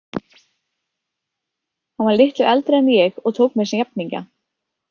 Hann var litlu eldri en ég og tók mér sem jafningja.